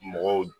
Mɔgɔw